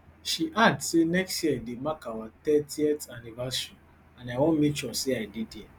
she add say next year dey mark our thirtyth anniversary and i wan make sure say i dey dia